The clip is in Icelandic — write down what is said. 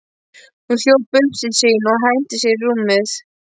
Hún hljóp upp til sín og henti sér í rúmið.